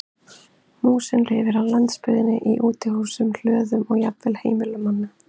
Músin lifir á landsbyggðinni í útihúsum, hlöðum og jafnvel á heimilum manna.